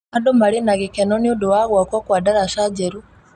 Andũ marĩ na gĩkeno nĩ ũndũ wa gkwakwa kwa ndaraca njerũ.